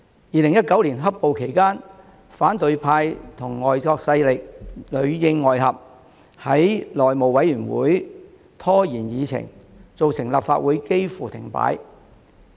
2019年"黑暴"期間，反對派與外國勢力裏應外合，在內務委員會拖延議程，造成立法會幾乎停擺。